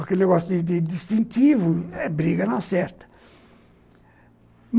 Aquele negócio de de de distintivo é briga não acerta.